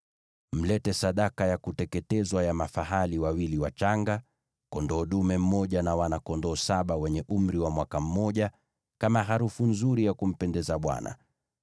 Mlete sadaka ya kuteketezwa ya mafahali wawili wachanga, kondoo dume mmoja, na pia wana-kondoo saba wenye umri wa mwaka mmoja, kama harufu nzuri ya kumpendeza Bwana .